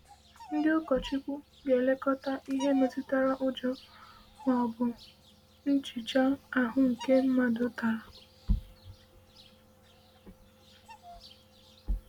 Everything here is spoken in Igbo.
Ndị ụkọchukwu ga-elekọta ihe metụtara ụjọ ma ọ bụ nhicha ahụ nke mmadụ natara.